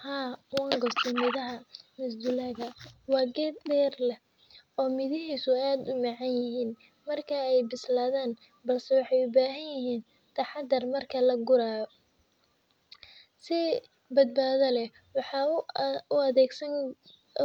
Haa, waan goostay midhaha masdulaagga. Waa geed dherer leh oo midhihiisu aad u macaan yihiin marka ay bislaadaan, balse waxay u baahan yihiin taxaddar marka la gurayo. Si badbaado leh waxaan